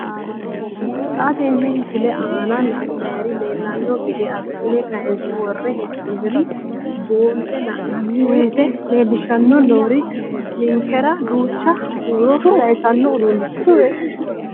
Xa tenne missile aana la'nara leellanno gede assine kayiinse worre hee'noonniri buunxe la'nanni woyiite leellishshanni noori ninkera duucha huuro sayiisaanno uduunnicho.